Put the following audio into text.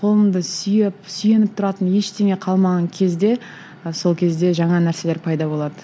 қолымды сүйеп сүйеніп тұратын ештеңе қалмаған кезде сол кезде жаңа нәрселер пайда болады